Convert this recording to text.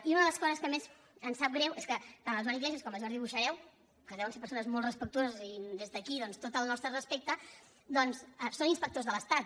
i una de les coses que més em sap greu és que tant el joan iglesias com el jordi boixareu que deuen ser persones molt respectuoses i des d’aquí doncs tot el nostre respecte són inspectors de l’estat